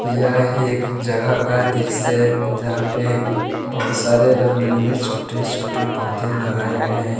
यह एक जगह का दृश्य है जहां पे बहुत सारे रंग बिरंगे छोटे छोटे पौधे लगाए गए हैं।